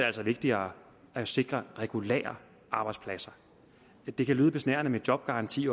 altså vigtigere at sikre regulære arbejdspladser det kan lyde besnærende med jobgaranti